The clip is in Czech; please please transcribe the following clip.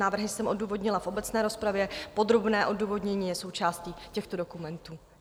Návrhy jsem odůvodnila v obecné rozpravě, podrobné odůvodnění je součástí těchto dokumentů.